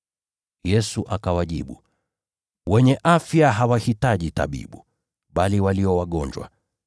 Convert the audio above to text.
Yesu akawajibu, “Wenye afya hawahitaji tabibu, bali walio wagonjwa.